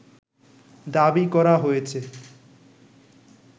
দাবি করা হয়েছে